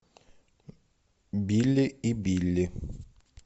билли и билли